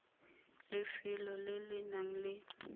lefelong le le nang le